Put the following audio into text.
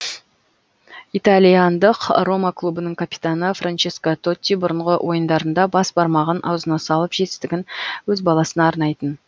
итальяндық рома клубының капитаны франческо тотти бұрынғы ойындарында бас бармағын аузына салып жетістігін өз баласына арнайтын